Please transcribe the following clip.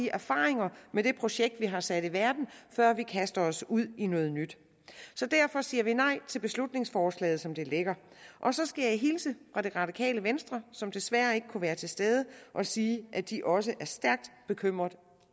erfaringer med det projekt vi har sat i verden før vi kaster os ud i noget nyt så derfor siger vi nej til beslutningsforslaget som det ligger og så skal jeg hilse fra det radikale venstre som desværre ikke kunne være til stede og sige at de også er stærkt bekymret